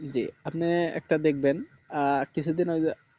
জি আপনি একটা দেখবেন কিছু দিন আগে